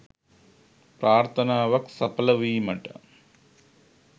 ප්‍රාර්ථනාවක් සඵල වීමට